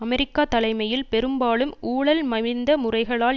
America தலைமையில் பெரும்பாலும் ஊழல் மலிந்த முறைகளால்